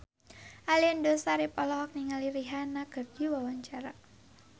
Aliando Syarif olohok ningali Rihanna keur diwawancara